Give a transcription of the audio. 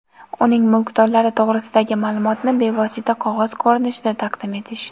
uning mulkdorlari to‘g‘risidagi maʼlumotni bevosita qog‘oz ko‘rinishda taqdim etish;.